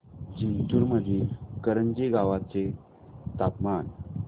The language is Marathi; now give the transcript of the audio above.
जिंतूर मधील करंजी गावाचे तापमान